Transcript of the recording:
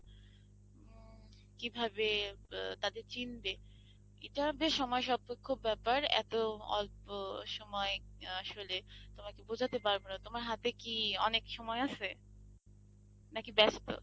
কিভাবে তাদের চিনবে এটা বেশ সময় সাপেক্ষ ব্যাপার এত অল্প সময় আসলে তোমাকে বোঝাতে পারবো না তোমার হাতে কি অনেক সময় আছে নাকি ব্যস্ত?